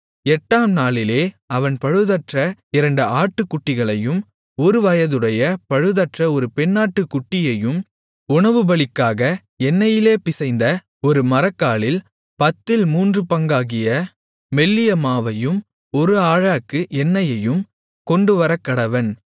எட்டாம்நாளிலே அவன் பழுதற்ற இரண்டு ஆட்டுக்குட்டிகளையும் ஒருவயதுடைய பழுதற்ற ஒரு பெண்ணாட்டுக்குட்டியையும் உணவுபலிக்காக எண்ணெயிலே பிசைந்த ஒரு மரக்காலில் பத்தில் மூன்று பங்காகிய மெல்லிய மாவையும் ஒரு ஆழாக்கு எண்ணெயையும் கொண்டுவரக்கடவன்